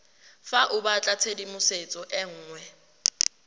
fa o batlatshedimosetso e nngwe